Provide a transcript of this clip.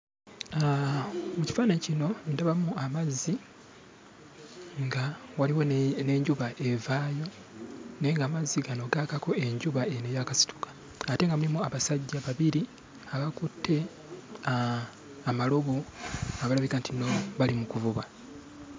Mu kifaananyi kino ndabamu amazzi nga waliwo ne n'enjuba evaayo, naye ng'amazzi gano gaakako enjuba eno eyaakasituka, ate nga mulimu abasajja babiri abakutte amalobo, abalabika nti nno bali mu kuvuba.